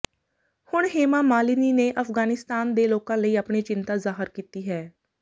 ਹੁਣ ਹੇਮਾ ਮਾਲਿਨੀ ਨੇ ਅਫਗਾਨਿਸਤਾਨ ਦੇ ਲੋਕਾਂ ਲਈ ਆਪਣੀ ਚਿੰਤਾ ਜ਼ਾਹਰ ਕੀਤੀ ਹੈ